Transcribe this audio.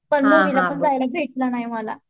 पण भेटलं नाही मला.